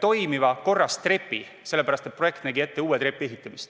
toimiva ja korras trepi, sest projekt nägi ette uue trepi ehitamist.